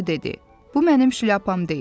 Bu mənim şlyapam deyil.